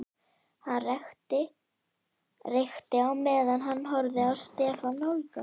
Hann reykti á meðan hann horfði á Stefán nálgast.